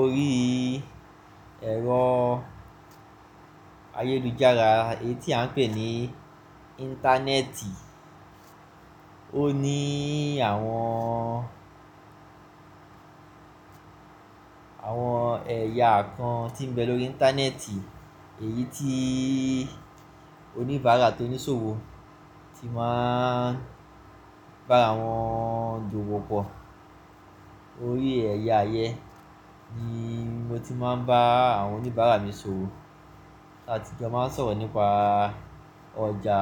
Orí ẹ̀rọ ayélujára, èyí tí à ń pè ní Íńtánẹ́ẹ̀tì, ó ní àwọn, àwọn ẹ̀yà kan tí ń bẹ lórí Íńtánẹ́ẹ̀tì, èyí tí oníbàárà tó ní ṣòwò ti máa bá àwọn ju wọ́pọ̀. Orí ẹ̀yà ayé ni mo ti máa ń bá àwọn oníbàárà mi ṣòwò àti kí a máa sọ̀rọ̀ nípa ọjà